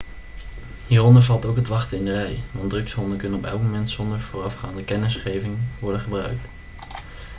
hieronder valt ook het wachten in de rij want drugshonden kunnen op elk moment zonder voorafgaande kennisgeving worden gebruikt